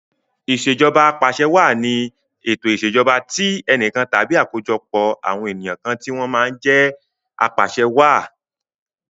Ìṣèjọba Apàṣẹwàá ni ètò ìṣèjọba tí enìkan tàbí àkójọpọ̀ àwọn ènìyàn kan tí wọ́n máa jẹ apàṣe wàá.